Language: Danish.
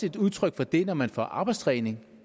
et udtryk for det når man får arbejdstræning